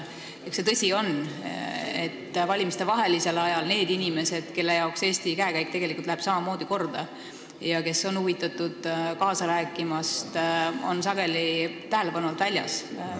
Eks see tõsi ole, et valimiste vahelisel ajal on need inimesed, kellele Eesti käekäik tegelikult läheb samamoodi korda ja kes on huvitatud selles kaasarääkimisest, sageli tähelepanu alt väljas.